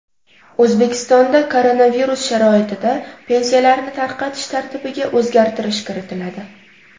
O‘zbekistonda koronavirus sharoitida pensiyalarni tarqatish tartibiga o‘zgartirish kiritiladi.